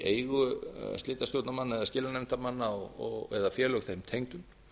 í eigu slitastjórnarmanna eða skilanefndarmanna eða félög þeim tengdum